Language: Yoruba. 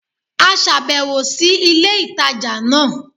A sàbèwò sí ilé ìtajà náà